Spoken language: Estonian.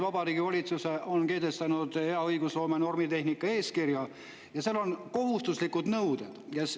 Vabariigi Valitsus on kehtestanud hea õigusloome normitehnika eeskirja ja seal on kohustuslikud nõuded.